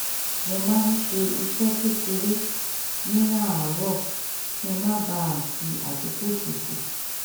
mo máa ń ṣe iṣẹ́ kékeré ní àárọ̀ kí n má bà a fi àkókò ṣòfò